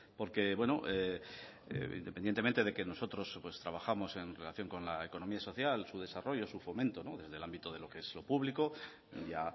porque independientemente de que nosotros trabajamos en relación con la economía social su desarrollo su fomento desde el ámbito de lo que es lo público ya